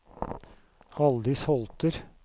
Haldis Holter